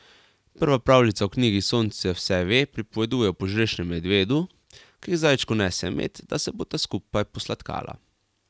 Prva pravljica v knjigi Sonce vse ve pripoveduje o požrešnemu medvedu, ki k zajčku nese med, da se bosta skupaj posladkala.